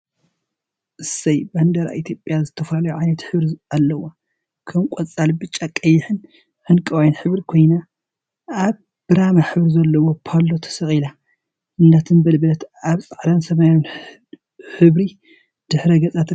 እሰይ! ባንዴራ ኢትዮጵያ ዝተፈላለዩ ዓይነት ሕብሪ አለዋ፡፡ ከም ቆፃል፣ ብጫ፣ ቀይሕን ዕንቋይን ሕብሪ ኮይና፤ አብ ብራማ ሕብሪ ዘለዎ ፓሎ ተሰቂላ እናተንበልበለት አብ ፃዕዳን ሰማያዊን ሕብሪ ድሕረ ገፅ ትርከብ፡፡